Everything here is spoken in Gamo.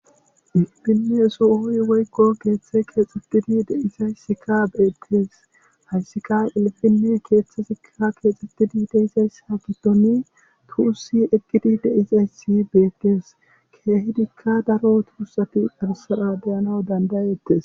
irpineso esooy woykko keeththe keexitidi deizaysika beettes hayssika ilfinne keeththesikka keexitidi deizayssa giddoni tuussi eqkidi deizayssi beetees keehidikka daro tuussati darsara deyanaw dandayeettes